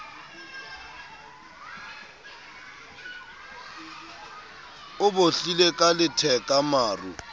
o bohlile ka letheka maru